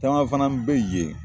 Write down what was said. Tagama fana bɛ yen!